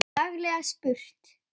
Laglega spurt!